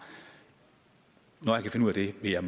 når jeg kan finde ud af det vil jeg